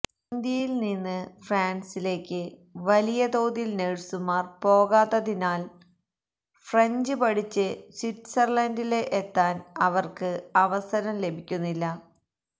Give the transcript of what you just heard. ഇന്ത്യയില് നിന്നും ഫ്രാന്സിലേക്ക് വലിയ തോതില് നഴ്സുമാര് പോകാത്തതിനാല് ഫ്രഞ്ച് പഠിച്ച് സ്വിറ്റ്സര്ലന്ഡില് എത്താന് അവര്ക്ക് അവസരം ലഭിക്കുന്നില്ല